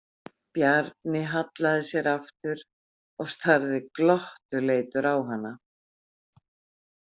Bjarni hallaði sér aftur og starði glottuleitur á hana.